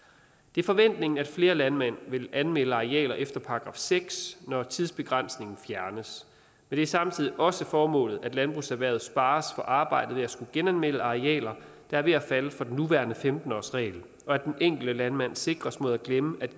det er forventningen at flere landmænd vil anmelde arealer efter § seks når tidsbegrænsningen fjernes det er samtidig også formålet at landbrugserhvervet spares for arbejdet med at skulle genanmelde arealer der er ved at falde for den nuværende femten årsregel og at den enkelte landmand sikres mod at glemme at